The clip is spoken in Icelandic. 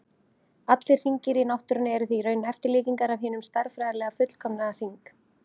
Allir hringir í náttúrunni eru því í raun eftirlíkingar af hinum stærðfræðilega fullkomna hring.